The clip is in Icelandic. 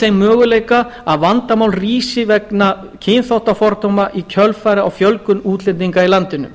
þeim möguleika að vandamál rísi vegna kynþáttafordóma í kjölfarið á fjölgun útlendinga í landinu